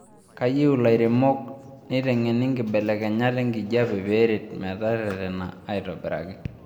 Keyieu lairemok neitengeni nkibelekenyat enkijape pee eret meteretana aitobiraki